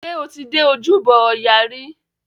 Ṣé o ti dé ojúbọ ọya rí?